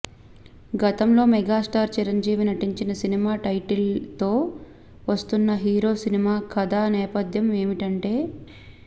గతంలో మెగాస్టార్ చిరంజీవి నటించిన సినిమా టైటిల్తో వస్తున్న హీరో సినిమా కథా నేపథ్యం ఏమిటంటే